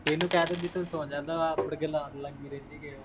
ਇਹਨੰ ਕਹਿ ਤੂੰ ਸੌ ਜਾਂਦਾ, ਆਪ ਮੁੜਕੇ ਲਾਉਣ ਲੱਗ ਗਈ